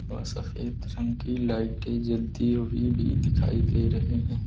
और सफेद रंग की लाइटें जलती हुई भी दिखाई दे रही हैं।